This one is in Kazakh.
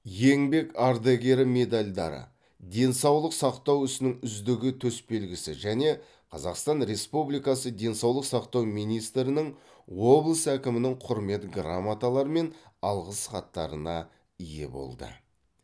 еңбек ардагері медальдары денсаулық сақтау ісінің үздігі төсбелгісі және қазақстан республикасы денсаулық сақтау министрінің облыс әкімінің құрмет грамоталары мен алғыс хаттарына ие болды